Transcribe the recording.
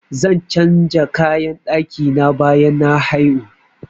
Zan changa kayan ɗaki na bayan na haihu.